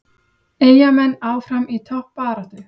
Eyjamenn áfram í toppbaráttu